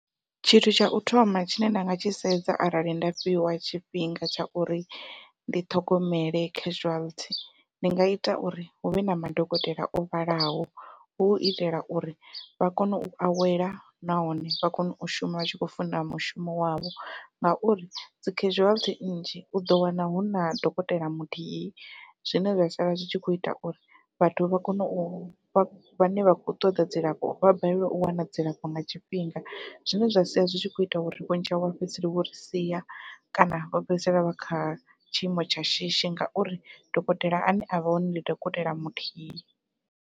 Tshithu tsha u thoma tshine nda nga tshi sedza arali nda fhiwa tshifhinga tsha uri ndi ṱhogomele casualty, ndi nga ita uri huvhe na madokotela o vhalaho. Hu itela uri vha kone u awela nahone vha kone u shuma vha tshi kho funa mushumo wavho, ngauri dzi casualty nnzhi uḓo wana huna dokotela muthihi zwine zwa sala zwi tshi kho ita uri vhathu vha kone u vha vhane vha khou ṱoḓa dzilafho vha balelwe u wana dzilafho nga tshifhinga zwine zwa sia zwi tshi kho ita uri vhunzhi havho vha fhedzisela vho ri sia kana vha fhedzisela vha kha tshiimo tsha shishi ngauri dokotela ane avha hone ndi dokotela muthihi.